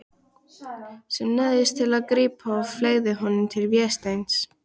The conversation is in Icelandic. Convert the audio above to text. Sem neyðist til að grípa og fleygir honum til Vésteins.